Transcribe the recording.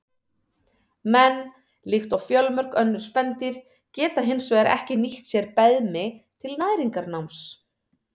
Menn, líkt og fjölmörg önnur spendýr, geta hins vegar ekki nýtt sér beðmi til næringarnáms.